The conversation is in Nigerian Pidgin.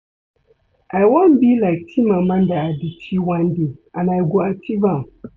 I wan be like Chimamanda Adichie one day and I go achieve am